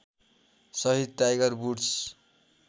सहित Tiger woods